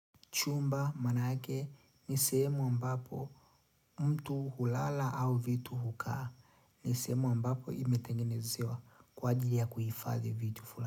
Chumba, maana yake, ni sehemu ambapo mtu hulala au vitu hukaa. Ni sehemu ambapo imetengenezewa kwa ajili ya kuhifadhi vitu fulani.